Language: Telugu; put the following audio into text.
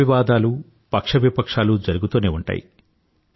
వాగ్వివాదాలూ పక్షవిపక్షాలూ జరుగుతూనే ఉంటాయి